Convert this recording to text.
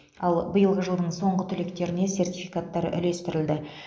ал биылғы жылдың соңғы түлектеріне сертификаттар үлестірілді